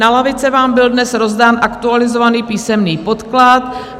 Na lavice vám byl dnes rozdán aktualizovaný písemný podklad.